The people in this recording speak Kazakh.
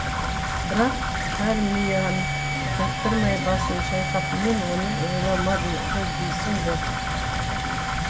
бірақ чармиан жақтырмай басын шайқап мен оны ойламады ғой дейсің бе